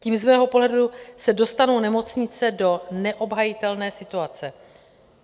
Tím z mého pohledu se dostanou nemocnice do neobhajitelné situace.